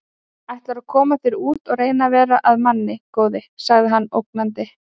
Ætlarðu að koma þér út og reyna að verða að manni, góði! sagði hann ógnandi.